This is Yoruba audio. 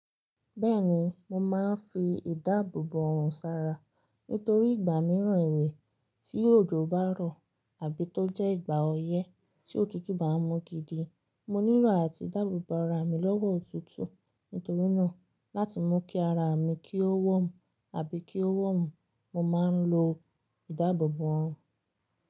Bẹ́ẹ̀ni, mo máa ń fi ìdáàbòbò ọrùn ṣara nítorí ìgbà mìíràn ìwé tí òjò bá rọ̀ àbí tó jẹ́ ìgbà ọyẹ́ tí òtútù bá ń mú gidi, mo nílò àti dáàbòbò ara mi lọ́wọ́ òtútù. Nítorí náà, láti mú kí ara mi kí ó warm àbí kí ó warm, mo máa ń lo ìdáàbòbò ọrùn.